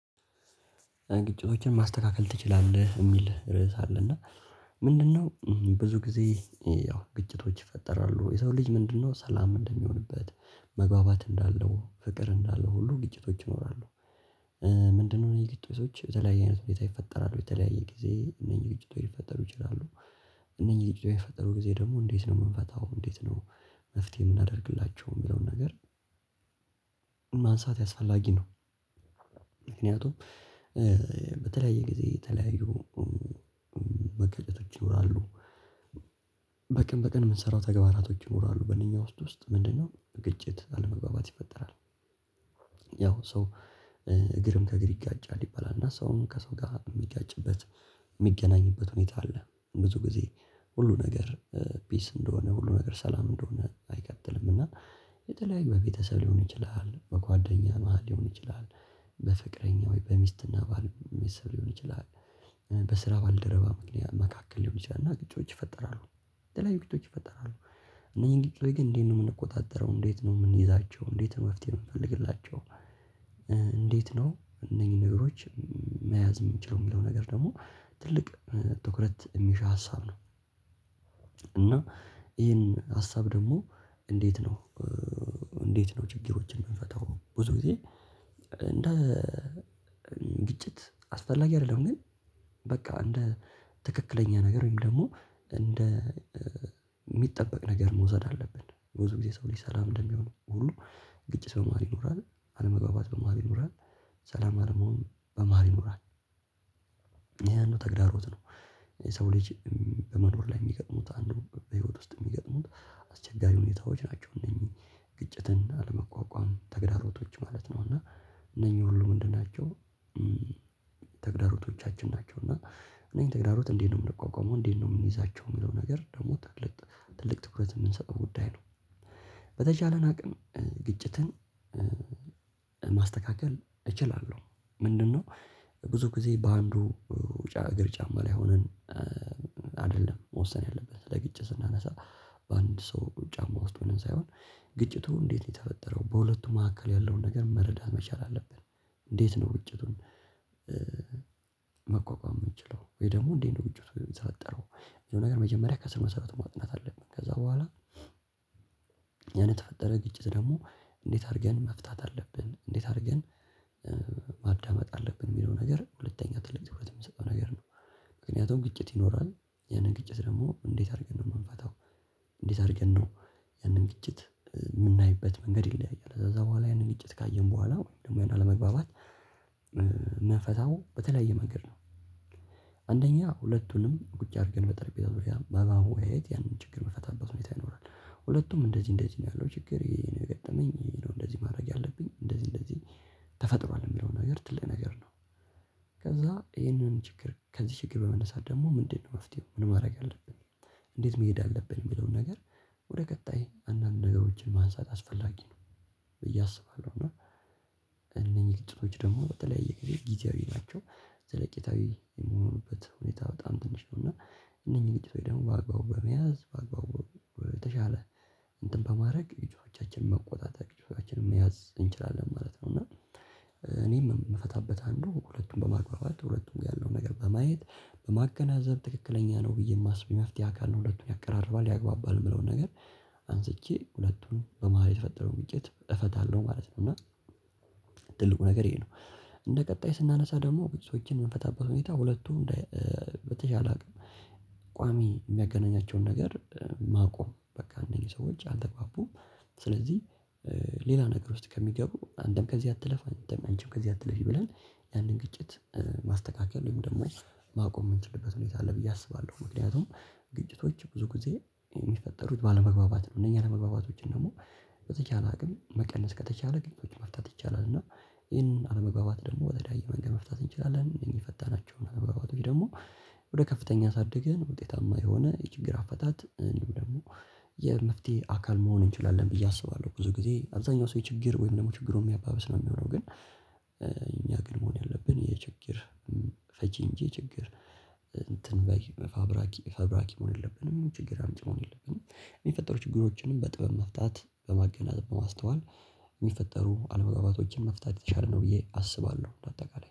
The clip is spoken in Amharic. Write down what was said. ግጭቶችን ማስተካከል ትችላለህ የሚል ርዕስ አለ እና ምንድነው ብዙ ጊዜ ያው ግጭቶች ይፈጠራሉ የሰው ልጅ ምንድነው ሰላም እንደሚሆንበት? መግባባት እንዳለው ፍቅር እንዳለው ሁሉ ግጭቶች ይኖራሉ። ምንድነው የግጭቶች በተለያየ አይነት ሁኔታ ይፈጠራሉ የተለያየ ጊዜ እነኚህ ግጭቶች ሊፈጠሩ ይችላሉ። አነኚህ ግጭቶች በሚፈጠሩ ጊዜ ደግሞ እንዴት ነው የምንፈታው እንዴት ነው? መፍትሄ የምናደርግላቸው የሚለውን ነገር። ማንሳት አስፈላጊ ነው። ምክንያቱም እ በተለያየ ጊዜ የተለያዩ መጋጨቶች ይኖራሉ። በቀን በቀን የምንሰራው ተግባራቶች ይኖራሉ በነኛ ውስጥ ውስጥ ምንድነው ግጭት አለመግባባት ይፈጠራል። ያው ሰው እግርም ከእግር ይጋጫል ይባላል እና ሰውም ከሰው ጋር የሚጋጭበት የሚገናኝበት ሁኔታ አለ። ብዙ ጊዜ ሁሉ ነገር ፒስ እንደሆነ ሁሉ ነገር ሰላም እንደሆነ አይቀጥልም እና። የተለያየ በ ቤተሰብ ሊሆን ይችላል በጓደኛ መሃል ሊሆን ይችላል። በፍቅረኛ ወይ በሚስትና ባል ሊሆን ይችላል። በስራ ባልደረባ መካከል ሊሆን ይችላል እና ግጭቶች ይፈጠራሉ። የተለያዩ ግጭቶች ይፈጠራሉ። እነኚህን ግጭቶች ግን እንዴት ነው የምንቆጣጠረው እንዴት ነው የምንይዛቸው እንዴት ነው መፍትሄ የምንፈልግላቸው? እንዴት ነው እነኚህን ነገሮች መያዝ የምንችለው የሚለው ነገር ደግሞ ትልቅ ትኩረት የሚሻ ሀሳብ ነው። እና ይሄን ሀሳብ ደግሞ እንዴት ነው? እንዴት ነው ችግሮችን የምንፈታው? ብዙ ጊዜ እንደ ግጭት አስፈላጊ አይደለም። ግን በቃ እንደ ትክክለኛ ነገር ወይም ደግሞ እንደ የሚጠበቅ ነገር መውሰድ አለብን። ብዙ ጊዜ የሰው ልጅ ሰላም እንደሚሆን ሁሉ ግጭት በመሃል ይኖራል። አለመግባባት በመሃል ይኖራል። ሰላም አለመሆን በመሃል ይኖራል። ይሄ አንዱ ተግዳሮት ነው። የሰው ልጅ በመኖር ላይ የሚገጥሙት አንዱ በህይወት ውስጥ የሚገጥሙት አስቸጋሪ ሁኔታዎች ናቸው። እነዚህ ግጭትን አለመቋቋም ተግዳሮቶች ማለት ነው። እና እነኚህ ሁሉ ምንድን ናቸው? ተግዳሮቶቻችን ናቸው። እና እነኚህን ተግዳሮት እንዴት ነው የምንቋቋመው እንዴት ነው የምንይዛቸው የሚለው ነገር ደግሞ ትልቅ ትኩረት የምንሰጠው ጉዳይ ነው። በተቻለን አቅም ግጭትን ማስተካከል እችላለሁ። ምንድነው? ብዙ ጊዜ በአንዱ እግር ጫማ ላይ ሆነን አይደለም መወሰን ያለበት ስለ ግጭት እና ለሰላም በአንድ ሰው ጫማ ውስጥ ሆነን ሳይሆን ግጭቱ እንዴት ነው የተፈጠረው በሁለቱ መካከል ያለውን ነገር መረዳት መቻል አለብን። እንዴት ነው ግጭቱ? መቋቋም የምንችለው ወይ ደግሞ እንዴት ነው ግጭቱን የተፈጠረው የሆነ ነገር መጀመሪያ ከስር መስራት ማጥናት አለብን። ከዛ በኋላ ያን የተፈጠረ ግጭት ደግሞ እንዴት አድርገን መፍታት አለብን። እንዴት አድርገን ማዳመጥ አለብን? የሚለው ነገር ሁለተኛ ትልቅ ትኩረት የምንሰጠው ነገር ነው። ምክንያቱም ግጭት ይኖራል። ያንን ግጭት ደግሞ እንዴት አድርገን ነው የምንፈታው? እንዴት አድርገን ነው? ያንን ግጭት የምናይበት መንገድ ይለያያል። ከዛ በኋላ ያንን ግጭት ካየን በኋላ ወይም ደግሞ ያንን አለመግባባት እምንፈታው በተለያየ መንገድ ነው። አንደኛ ሁለቱንም ቁጭ አድርገን በጠርጴዛ ዙሪያ በማወያየት ያንን ችግር የምንፈታበት ሁኔታ ይኖራል። ሁለቱም እንደዚህ እንደዚህ ነው ያለው ችግር ይሄ ነው የገጠመኝ ይሄ ነው እንደዚህ ማድረግ ያለብኝ እንደዚህ እንደዚህ ተፈጥሯል የሚለው ነገር ትልቅ ነገር ነው። ከዛ ይሄንን ችግር ከዚህ ችግር በመነሳት ደግሞ ምንድነው መፍትሄው ምን ማድረግ አለብን? እንዴት መሄድ አለብን የሚለውን ነገር ወደ ቀጣይ አንዳንድ ነገሮችን ማንሳት አስፈላጊ ነው። ብዬ አስባለሁ። እና እነኚህ ጥሩዎች ደግሞ በተለያየ ጊዜ ጊዜያዊ ናቸው። ዘለቄታዊ የሚሆኑበት ሁኔታ በጣም ትንሽ ነው። እና እነኚህን ግጭቶች ደግሞ በአግባቡ በመያዝ በአግባቡ በተሻለ እንትን በማድረግ ግጭቶቻችንን መቆጣጠር ግጭቶቻችንን መያዝ እንችላለን ማለት ነው። እና እኔም የምፈታበት አንዱ ሁለቱን በማግባባት ሁለቱም ጋር ያለውን ነገር በማየት በማገናዘብ ትክክለኛ ነው ብዬ የማስበው የመፍትሄ አካል ነው ሁለቱን ያቀራርባል ያግባባል የምለውን ነገር። አንስቼ ሁለቱን በመሃል የተፈጠረው ግጭት እፈታለሁ ማለት ነው። እና ትልቁ ነገር ይሄ ነው። እንደ ቀጣይ ስናነሳ ደግሞ ግጭቶችን የምንፈታበት ሁኔታ ሁለቱም እንደ በተቻለ አቅም ቋሚ የሚያገናኛቸውን ነገር ማቆም በቃ እነኚህ ሰዎች አልተግባቡም። ስለዚህ ሌላ ነገር ውስጥ ከሚገቡ አንተም ከዚህ አትለፍ አንተም አንቺም ከዚህ አትለፊ ብለን ያንን ግጭት ማስተካከል ወይም ደግሞ ማቆም የምንችልበት ሁኔታ አለ ብዬ አስባለሁ። ምክንያቱም ግጭቶች ብዙ ጊዜ የሚፈጠሩት ባለመግባባት ነው። እነኚህ አለመግባባቶችን ደግሞ በተቻለ አቅም መቀነስ ከተቻለ ግጭቶች መፍታት ይቻላል። እና ይሄን አለመግባባት ደግሞ በተለያየ መንገድ መፍታት እንችላለን። እነኚህ የፈታናቸውን አለመግባባቶች ደግሞ ወደ ከፍተኛ አሳድገን ውጤታማ የሆነ የችግር አፈታት እንዲሁም ደግሞ የመፍትሄ አካል መሆን እንችላለን። ብዬ አስባለሁ። ብዙ ጊዜ አብዛኛው ሰው የችግር ወይም ደግሞ ችግሩን የሚያባብስ ነው የሚሆነው። ግን እኛ ግን መሆን ያለብን የችግር ፈቺ እንጂ የችግር እንትን ባይ ፋብራኪ ፋብራኪ መሆን የለብንም። ችግር አምጭ መሆን የለብንም። የሚፈጠሩ ችግሮችንም በጥበብ መፍታት በማገናኘት በማስተዋል የሚፈጠሩ አለመግባባቶችን መፍታት አችላለሁ ብዬ አስባለሁ። በ አጠቃላይ